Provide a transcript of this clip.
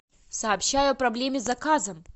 сообщаю о проблеме с заказом